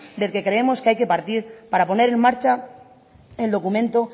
del que creemos que hay que partir para poner en marcha el documento